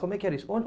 Como é que era isso?